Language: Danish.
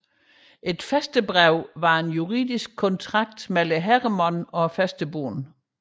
Et fæstebrev var en juridisk kontrakt mellem herremand og fæstebonde